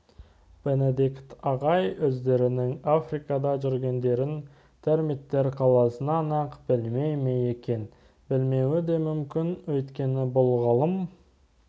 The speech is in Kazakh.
бенедикт ағай өздерінің африкада жүргендерін термиттер қаласынан-ақ білмей ме екен білмеуі де мүмкін өйткені бұл ғалым